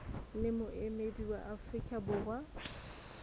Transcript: le moemedi wa afrika borwa